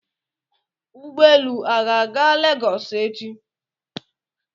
Ụgbọelu a ga-aga lagos echi?